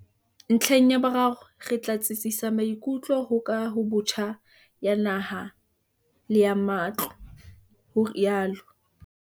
"Ntlheng ya boraro, re tla tsitsisa maikutlo ho kahobotjha ya naha le ya matlo", o rialo.